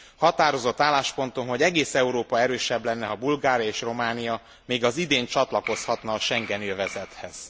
Határozott álláspontom, hogy egész Európa erősebb lenne, ha Bulgária és Románia még az idén csatlakozhatna a schengeni övezethez.